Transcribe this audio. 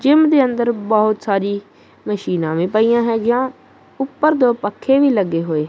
gym ਦੇ ਅੰਦਰ ਬਹੁਤ ਸਾਰੀ ਮਸ਼ੀਨਾ ਵੀ ਪਈਆਂ ਹੈਗੀਆਂ ਉੱਪਰ ਦੋ ਪੱਖੇ ਵੀ ਲੱਗੇ ਹੋਏ--